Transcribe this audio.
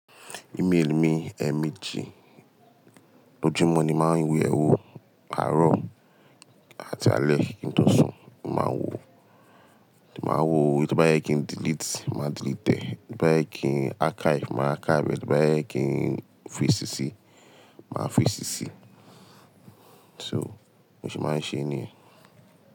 Email mi, Emeeji. Lójúmọ́ ni máa ń yewo, àárọ̀ àti alẹ́ kí n tó sùn, màá wo, màá wo, èyi to bá yẹ kí n delete, màá delete ẹ, ètò bá yẹ kí n archive, màá archive ẹ, ètò bá yẹ kí n fọ̀ í sísi, màá fọ̀ í sísi. So mo se máa ń ṣe é nìyẹn.